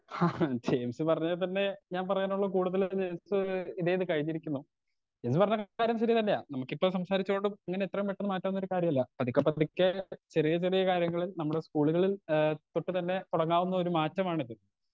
Speaker 2 James പറഞ്ഞതിത്തന്നെ ഞാൻ പറയാനുള്ളത് കൂടുതലും ജെയിംസ് ഇതേത് കഴിഞ്ഞിരിക്കുന്നു. എന്ന് പറഞ്ഞ കാര്യം ശെരി തന്നെയാ നമുക്കിപ്പൊ സംസാരിച്ചോണ്ടും ഇങ്ങനെ എത്രേം പെട്ടന്ന് മാറ്റാവുന്നൊരു കാര്യല്ല പതിക്കെ പതിക്കേ ചെറിയ ചെറിയ കാര്യങ്ങളിൽ നമ്മുടെ സ്കൂളുകളിൽ ഏ തൊട്ട് തന്നെ തൊടങ്ങാവുന്നൊരു മാറ്റമാണിത്.